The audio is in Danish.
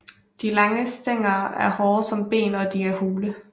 De lange stængler er hårde som ben og de er hule